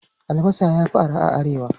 Albasa ya fi arha a Arewa.